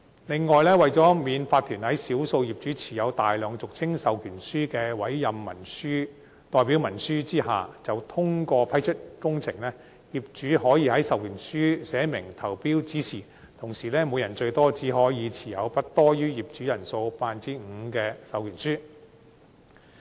另外，為免法團在少數業主持有大量俗稱授權書的"委任代表文書"投票下通過批出工程，業主可在授權書上寫明投票指示，同時每人最多只可持有不多於業主人數 5% 的授權書。